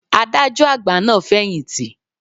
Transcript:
Adájọ́ àgbà náà ti fẹ̀yìntì.